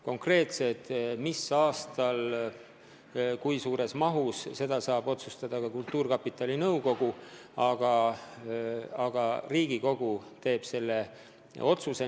Konkreetselt mis aastal kui suures mahus finantseeritakse, seda saab otsustada ka kultuurkapitali nõukogu, aga Riigikogu teeb põhiotsuse.